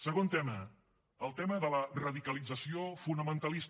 segon tema el tema de la radicalització fonamentalista